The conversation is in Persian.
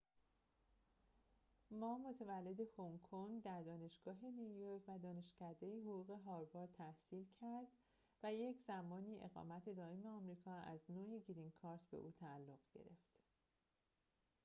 ما متولد هنگ‌کنگ در دانشگاه نیویورک و دانشکده حقوق هاروارد تحصیل کرد و یک‌زمانی اقامت دائم آمریکا از نوع گرین کارت به او تعلق گرفت